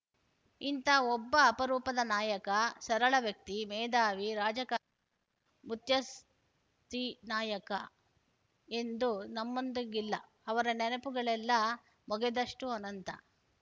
ಇಂಥ ಒಬ್ಬ ಅಪರೂಪದ ನಾಯಕ ಸರಳ ವ್ಯಕ್ತಿ ಮೇಧಾವಿ ರಾಜಕಾರ ಮುತ್ಸದ್ದಿ ನಾಯಕ ಇಂದು ನಮ್ಮೊಂದಿಗಿಲ್ಲ ಅವರ ನೆನಪುಗಳೆಲ್ಲ ಮೊಗೆದಷ್ಟೂಅನಂತ